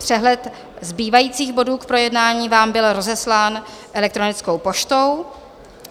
Přehled zbývajících bodů k projednání vám byl rozeslán elektronickou poštou.